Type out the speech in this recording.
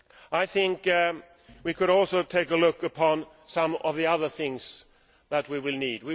I think we could also take a look at some of the other things that we will need.